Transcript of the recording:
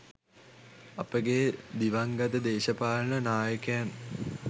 අපගේ දිවංගත දේශපාලන නායකයන්